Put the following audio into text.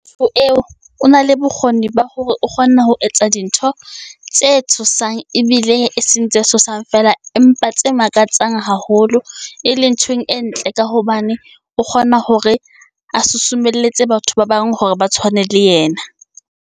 eo o na le bokgoni ba hore o kgona ho etsa dintho tse tshosang, ebile e seng tse tshosang fela, empa tse makatsang haholo e leng ntho e ntle ka hobane, o kgona hore a susumelletswe batho ba bang hore ba tshwane le yena.